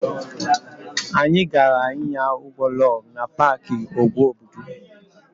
Anyị gaara ịnya ụgbọ lọg na paaki úgwù Obudu.